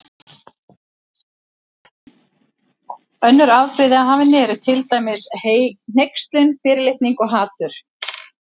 Önnur afbrigði af henni eru til dæmis hneykslun, fyrirlitning og hatur.